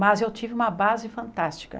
Mas eu tive uma base fantástica.